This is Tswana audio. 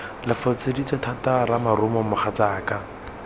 lo foseditse thata ramarumo mogatsaka